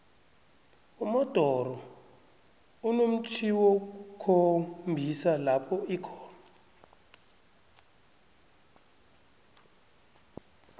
umodoro inomtjhjniwokukhombisa lopho ikhona